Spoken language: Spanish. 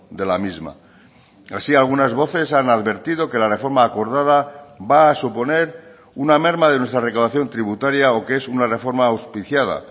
de la misma así algunas voces han advertido que la reforma acordada va a suponer una merma de nuestra recaudación tributaria o que es una reforma auspiciada